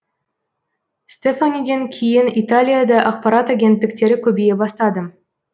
стефаниден кейін италияда ақпарат агенттіктері көбейе бастады